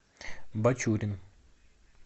бачурин